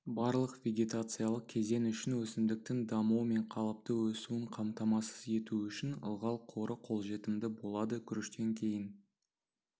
барлық вегетациялық кезең үшін өсімдіктің дамуы мен қалыпты өсуін қамтамасыз ету үшін ылғал қоры қолжетімді болады күріштен кейін